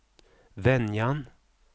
Venjan